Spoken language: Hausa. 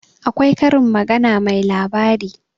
akwai Karin magana mai labari